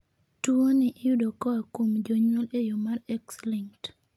tuwoni iyudo koa kuom jonyuol e yoo ma X-linked